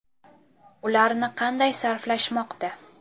Ularni qanday sarflashmoqda?